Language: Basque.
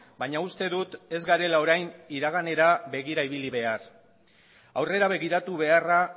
baina uste dut ez garela orain iraganera begira ibili behar aurrera begiratu beharra